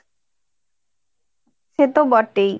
সে তো বটেই